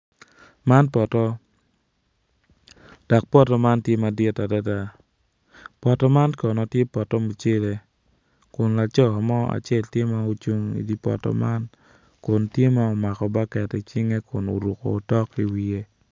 Man poto dok poto man tye madit adada poto man kono tye poto mucele kun laco mo acel tye ma ocung i dye poto man kun tye ma omako baket icinge kun oruko otok i wiye.